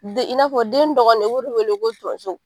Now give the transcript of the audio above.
Den in n'a fɔ den dɔgɔnin de o b'o de wele ko tonso.